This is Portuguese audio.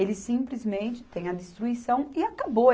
Eles simplesmente têm a destruição e acabou.